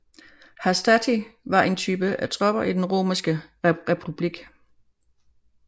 Hastati var en type af tropper i den romerske republik